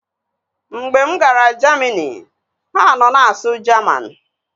Mgbe m gara Jamini, ha nọ na-asụ Jaman